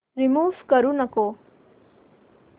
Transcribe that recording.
remove करू नको